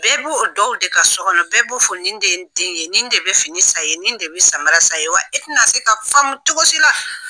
Bɛɛ b'o o dɔw de ka so kɔnɔ bɛɛ b'o fɔ nin de ye n den ye, nin de bɛ fini sa ka di ko ma, nin de bɛ samara san ni ɲe, ye wa e tɛna se k'a faamu cogo si la.